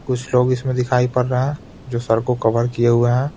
कुछ लोग इसमें दिखाई पड़ रहे हैं जो सर को कवर किए हुए हैं.